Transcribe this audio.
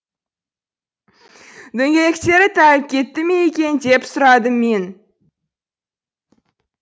дөңгелектері тайып кетті ме екен деп сұрадым мен